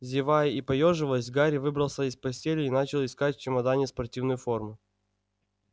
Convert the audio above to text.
зевая и поёживаясь гарри выбрался из постели и начал искать в чемодане спортивную форму